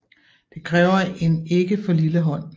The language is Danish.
Det kræver en ikke for lille hånd